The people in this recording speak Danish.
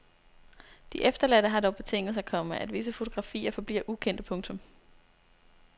De efterladte har dog betinget sig, komma at visse fotografier forbliver ukendte. punktum